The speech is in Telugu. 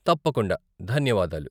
తప్పకుండా, ధన్యవాదాలు.